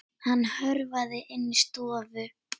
Hann hörfaði inn í stofu.